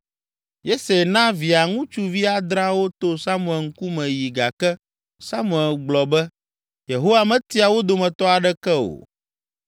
Yese na Via ŋutsuvi adreawo to Samuel ŋkume yi gake Samuel gblɔ be; “Yehowa metia wo dometɔ aɖeke o.”